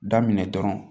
Daminɛ dɔrɔn